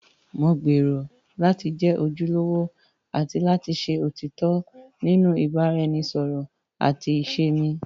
Mo gbèrò láti jẹ́ ojúlówó àti òtítọ́ nínú ìbáraẹnisọ̀rọ̀ àti ìṣe mi.